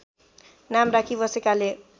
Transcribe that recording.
नाम राखी बसेकाले